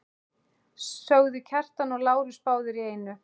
sögðu Kjartan og Lárus báðir í einu.